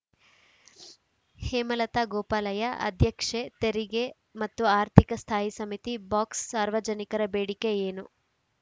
ಹೇಮಲತಾ ಗೋಪಾಲಯ್ಯ ಅಧ್ಯಕ್ಷೆ ತೆರಿಗೆ ಮತ್ತು ಆರ್ಥಿಕ ಸ್ಥಾಯಿ ಸಮಿತಿ ಬಾಕ್ಸ್‌ ಸಾರ್ವಜನಿಕರ ಬೇಡಿಕೆ ಏನು